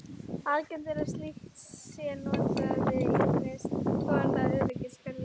Algengt er að slíkt sé notað við ýmiss konar öryggiskerfi.